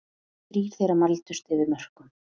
Þrír þeirra mældust yfir mörkum